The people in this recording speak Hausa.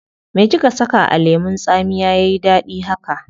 Me kika saka a lemun tsamiya yayi dadi haka?